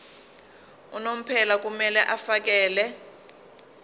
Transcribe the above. unomphela kumele afakele